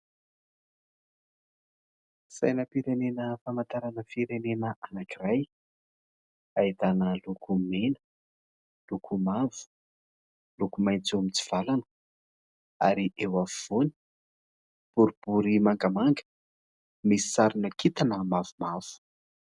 Sainam-pirenena famantarana firenena anankiray. ahitana loko mena, loko mavo, loko maitso mitsivalana ary eo afovoany boribory mangamanga, misy sarina kintana mavomavo.